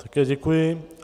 Také děkuji.